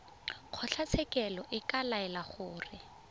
kgotlatshekelo e ka laela gore